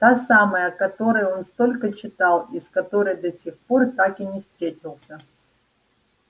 та самая о которой он столько читал и с которой до сих пор так и не встретился